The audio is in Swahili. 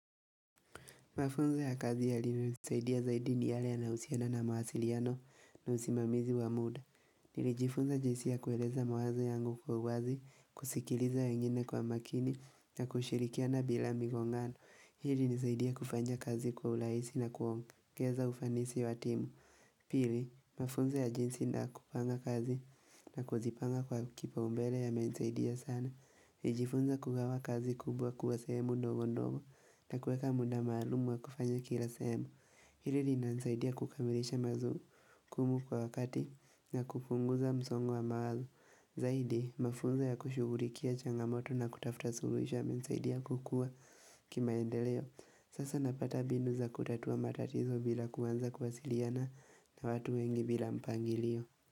Mafunzo ya kazi ya yaliyonisaidia zaidi ni yale yanahusiana na mawaasiliano na usimamizi wa muda. Nilijifunza jinsi ya kueleza mawazo yangu kwa uwazi, kusikiliza wengine kwa makini na kushirikiana bila migongano. Hili ilinisaidia kufanya kazi kwa urahisi na kuongeza, ufanisi wa timu. Pili, mafunzo ya jinsi na kupanga kazi na kuzipanga kwa kipa umbele yamenisaidia sana. Nijifunza kugawa kazi kubwa kuwa sehemu ndogo ndogo na kuweka muda maalumu wa kufanya kila sehemu Hili li nanisaidia kukamilisha mazu kumu kwa wakati na kufunguza msongu wa maalu Zaidi mafunza ya kushugulikia changamoto na kutafuta suluhisho yamenisaidia kukua kimaendeleo Sasa napata binu za kutatua matatizo bila kuwanza kuwasiliana na watu wengi bila mpangilio.